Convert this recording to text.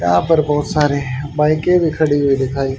यहां पर बहुत सारे बाइके के भी खड़ी हुई दिखाएं--